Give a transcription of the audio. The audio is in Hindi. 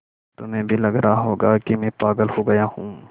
तुम्हें भी लग रहा होगा कि मैं पागल हो गया हूँ